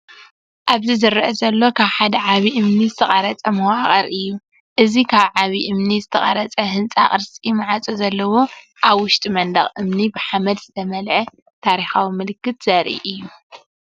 ኣብዚ ዝርአ ዘሎ ካብ ሓደ ዓቢ እምኒ ዝተቐርጸ መዋቕር እዩ። እዚ ካብ ዓቢ እምኒ ዝተቐርጸ ህንጻ፡ ቅርጺ ማዕጾ ዘለዎ፡ ኣብ ውሽጢ መንደቕ እምኒ ብሓመድ ዝተመልአ። ታሪኻዊ ምልክት ዘርኢ እዩ።